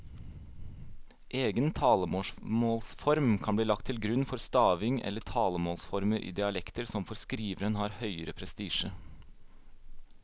Egen talemålsform kan bli lagt til grunn for stavingen eller talemålsformer i dialekter som for skriveren har høgere prestisje.